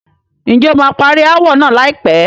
Ǹjẹ́ o máa parí ááwọ̀ náà láìpẹ́?